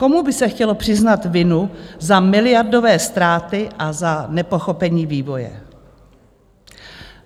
Komu by se chtělo přiznat vinu za miliardové ztráty a za nepochopení vývoje?